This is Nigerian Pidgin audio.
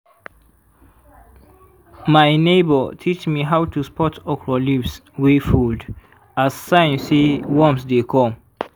my neighbour teach me how to spot okra leaves wey fold as sign say worms dey come.